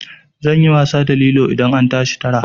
Zan yi wasa da lilo idan an tashi tara.